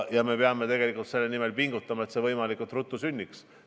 Nüüd peame selle nimel pingutama, et see võimalikult ruttu sünniks.